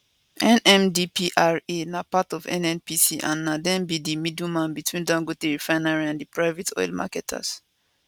nmdpra na part of nnpc and na dem be di middleman between dangote refinery and private oil marketers